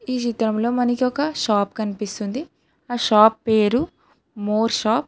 ఈ చిత్రంలో మనకొక షాప్ కనిపిస్తుంది ఆ షాప్ పేరు మోర్ షాప్ .